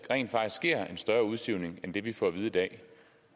rent faktisk sker en større udsivning end den vi får at vide i dag